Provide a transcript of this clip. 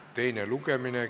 Teine lugemine.